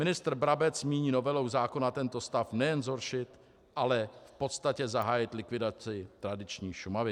Ministr Brabec nyní novelou zákona tento stav nejen zhoršil, ale v podstatě zahájil likvidaci tradiční Šumavy."